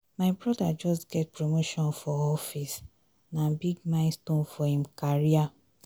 my broda just get promotion for office na big milestone for im career.